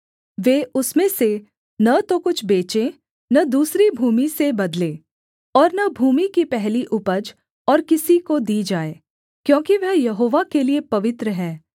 वे उसमें से न तो कुछ बेचें न दूसरी भूमि से बदलें और न भूमि की पहली उपज और किसी को दी जाए क्योंकि वह यहोवा के लिये पवित्र है